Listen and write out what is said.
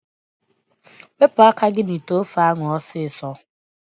Wepu aka gi n'ite ofe egusi ahu osiso!